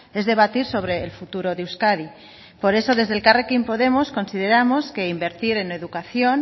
es debatir sobre el futuro de euskadi por eso desde elkarrekin podemos consideramos que invertir en educación